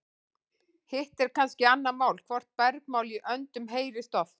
hitt er kannski annað mál hvort bergmál í öndum heyrist oft